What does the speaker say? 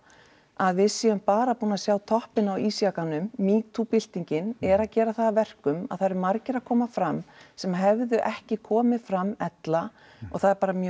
að við séum bara búin að sjá toppinn á ísjakanum metoo byltingin er að gera það að verkum að það eru margir að koma fram sem hefðu ekki komið fram ella og það er mjög